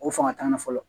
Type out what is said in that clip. O fanga t'an na fɔlɔ